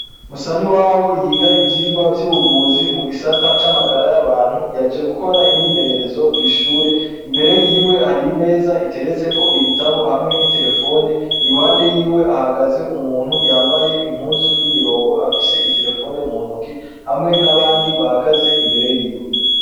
Musa niwabo yiga ivyirwa vyubuvuzi mugisata camagara yabantu yaje gukora imyimenyerezo kwishure imbere yiwe hari imeza iteretseko ibitabo hamwe ni telephone iruhande yiwe hahagaze umuntu yambaye impuzu yimirongo afise itelephone muntoke hamwe nabandi bahagaz imbere yiwe